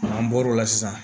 An bɔr'o la sisan